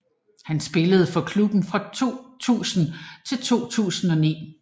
Han spillede for klubben fra 2000 til 2009